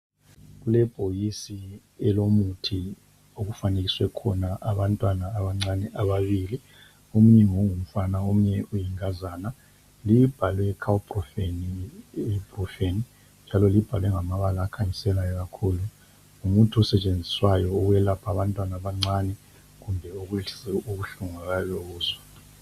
Kulebhokisi elomuthi okufanekiswe khona abantwana abancane ababili, omunye ngongumfana omunye ngoyinkazana. Libhalwe Colprofen ibuprorufen. Libhaliwe ngamabala akhanyiselayo kakhulu. Ngumuthi osetshenziswayo ukwelapha abantwana abancane kumbe ukwehlisa ubuhlungu abayabe bebuzwa.